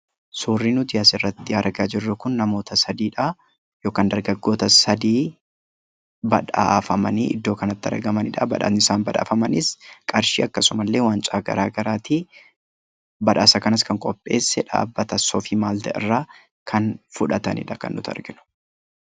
Suurri nuti asirratti argaa jirru kun namoota sadiidha yookaan dargaggoota sadii badhaafamanii iddoo kanatti argamanidha. Badhaafni isaan badhaafamanis qarshii akkasumallee wancaa garaagaraati. Badhaasa kanas kan qopheesse dhaabbata soofii maalt irraa kan fudhatanidha kan nuti arginu.